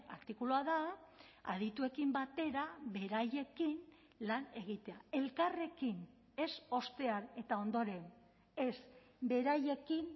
artikulua da adituekin batera beraiekin lan egitea elkarrekin ez ostean eta ondoren ez beraiekin